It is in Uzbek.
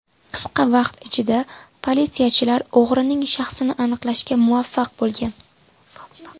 Qisqa vaqt ichida politsiyachilar o‘g‘rining shaxsini aniqlashga muvaffaq bo‘lgan.